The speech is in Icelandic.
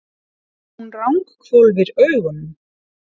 Hún ranghvolfir augunum.